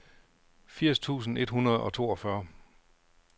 firs tusind et hundrede og toogfyrre